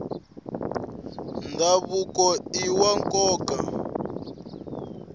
ndhavuko iwa nkoka